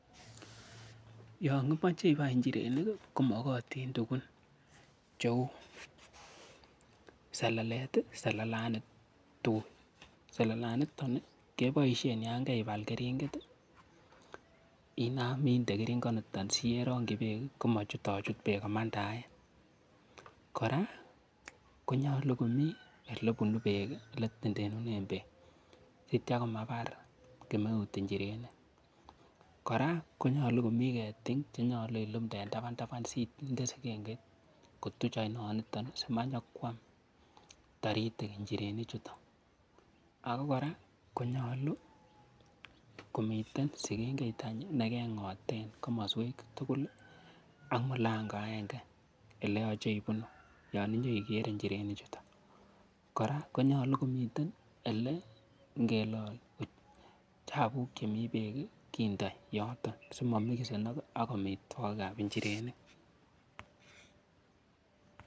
Yon imoche ibai njirenik ko mogotin tugun cheu, selelet, selelani tuiy, selelaniton keboishen yan keibal keringet, inam inde keringonito si ye rongi beek komachutochut beek komandaen. Kora konyolu komi ele bunu beek ele itendenen beek sitya komabar kemeut njirenik. Kora konyolu komi ketik che nyolu ilumde en tabantaban sinde sigengit kotuch oinoniton simanyikwam taritik njirenichuto, ago kora konyolu komiten sigengeit any ii negeng'oten komoswek tugul ak mulango agenge ole yoche ibunu yon inye igere njirenik chuto, kora konyolu komiten ele igelol chabuk chemi beek kindo yoton simomixenok ak amitwogik ab njirenik